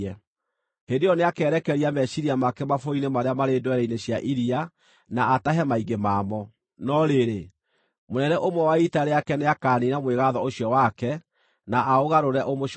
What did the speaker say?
Hĩndĩ ĩyo nĩakerekeria meciiria make mabũrũri-inĩ marĩa marĩ ndwere-inĩ cia iria na atahe maingĩ mamo, no rĩrĩ, mũnene ũmwe wa ita rĩake nĩakaniina mwĩgaatho ũcio wake, na aũgarũre ũmũcookerere.